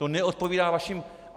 To neodpovídá vašim...